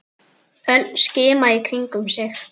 Örn skimaði í kringum sig.